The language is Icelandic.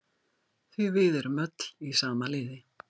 Því við erum öll í sama liði.